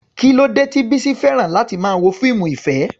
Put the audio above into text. Kí ló dé tí Bisi fẹ́ràn láti máa wo fíìmù ìfẹ́?